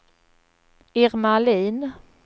Irma Ahlin